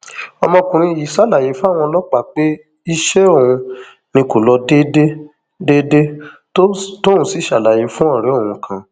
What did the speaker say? ọmọkùnrin yìí ṣàlàyé fáwọn ọlọpàá pé iṣẹ òun ni kó lọ déédé déédé tóun sì ṣàlàyé fún ọrẹ òun kan